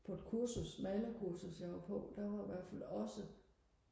på et kursus maler kursus jeg var på der var i hvertfald også